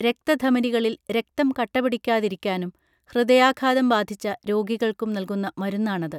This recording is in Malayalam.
രക്ത ധമനികളിൽ രക്തം കട്ടപിടിക്കാതിരിക്കാനും ഹൃദയാഘാതം ബാധിച്ച രോഗികൾക്കും നൽകുന്ന മരുന്നാണത്